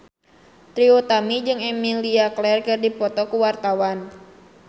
Trie Utami jeung Emilia Clarke keur dipoto ku wartawan